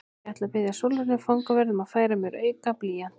Ég ætla að biðja Sólrúnu fangavörð um að færa mér auka blýant.